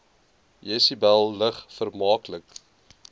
jesebel lig vermaaklik